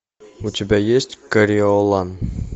у тебя есть кориолан